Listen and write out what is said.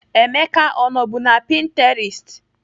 Emeka ọ nọbu na Pininterest?